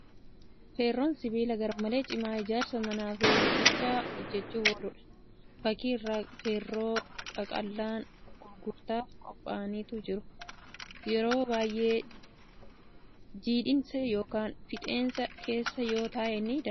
Feerroon sibiila garmalee cimaa ijaarsa manaa fi riiqicha hojjachuuf ooludha. Fakkii irraa feerroo qaqallaan gurgurtaaf qophaa'antu jira. Yeroo baay'ee jiidhinsa yookan fixeensa keessa yoo taa'ee ni daanda'a. Ferroon sibiilota kaan irra garmalee ulfaatadha.